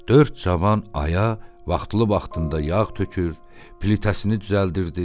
Dörd cavan Aya vaxtlı-vaxtında yağ tökür, plitəsini düzəldirdi.